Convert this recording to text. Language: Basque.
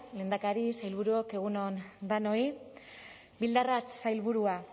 lehendakari sailburuok egun on danoi bildarratz sailburua